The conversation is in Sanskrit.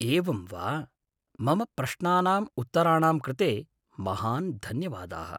एवं वा। मम प्रश्नानाम् उत्तराणां कृते महान् धन्यवादाः।